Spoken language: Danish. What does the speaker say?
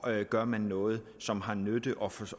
gør man noget som har nytte og